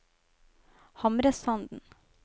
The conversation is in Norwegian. Hamresanden